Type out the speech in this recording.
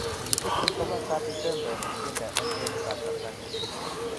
Kikisikyin komastab Ipemebe , Singinda en kwenut an Tanzania